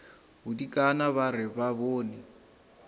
bodikana ba re ba bone